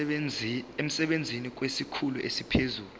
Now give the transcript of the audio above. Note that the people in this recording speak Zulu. emsebenzini kwesikhulu esiphezulu